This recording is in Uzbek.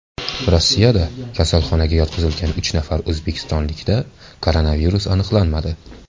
Rossiyada kasalxonaga yotqizilgan uch nafar o‘zbekistonlikda koronavirus aniqlanmadi.